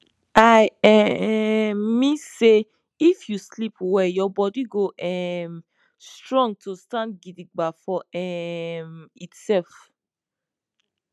i um mean say if you sleep well your bodi go um strong to stand gidigba for um itself